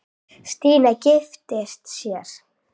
Stína giftist sér.